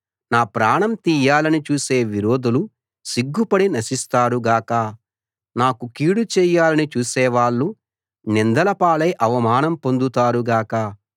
నా ప్రాణం తీయాలని చూసే విరోధులు సిగ్గుపడి నశిస్తారు గాక నాకు కీడుచేయాలని చూసేవాళ్ళు నిందలపాలై అవమానం పొందుతారు గాక